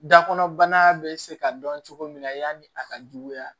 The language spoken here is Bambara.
Da kɔnɔbana bɛ se ka dɔn cogo min na yanni a ka juguya